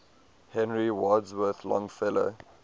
henry wadsworth longfellow